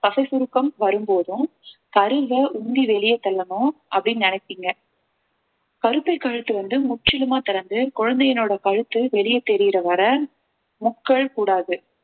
தசை சுருக்கம் வரும்போதும் கருவை உந்தி வெளியே தள்ளணும் அப்படின்னு நினைப்பீங்க கருப்பை கழுத்து வந்து முற்றிலுமா திறந்து குழந்தையினுடைய கழுத்து வெளியே தெரியிற வரை முக்கள் கூடாது